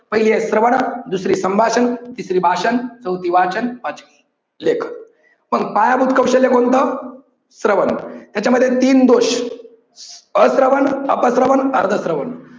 पहिली आहे श्रवण दुसरी संभाषण तिसरी आहे भाषण चौथी वाचन पाचवी लेखन पण पायाभूत कौशल्य कोणतं? श्रवण याच्यामध्ये तीन दोष. अश्रवन, अप श्रवण, अर्ध श्रवण.